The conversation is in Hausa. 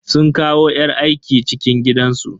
Sun kawo yar aiki cikin gidansu.